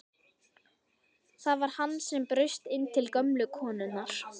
Það var hann sem braust inn til gömlu konunnar!